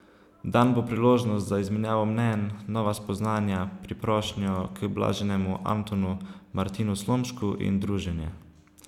Dan bo priložnost za izmenjavo mnenj, nova spoznanja, priprošnjo k blaženemu Antonu Martinu Slomšku in druženje.